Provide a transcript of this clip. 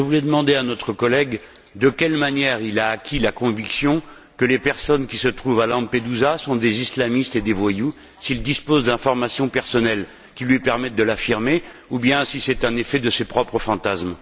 Je voulais demander à notre collègue de quelle manière il a acquis la conviction que les personnes qui se trouvent à Lampedusa sont des islamistes et des voyous, s'il dispose d'informations personnelles qui lui permettent de l'affirmer ou bien si c'est un effet de ses propres fantasmes.